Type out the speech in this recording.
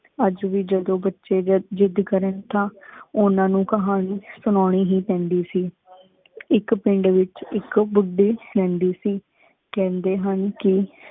ਅਜ ਵੀ ਜਦੋ ਬੱਚੇ ਜਦ ਜਿਦ ਕਰਨ ਤਾਂ ਉਨਾ ਨੂ ਕਹਾਨੀ ਸੁਣੌਣੀ ਹੀ ਪੈਂਦੀ ਸੀ। ਏਕ ਪੇੰਡ ਵੇਚ ਏਕ ਬੁਢੀ ਰਹੰਦੀ ਸੀ। ਕਹਿੰਦੇ ਹਨ ਕਿ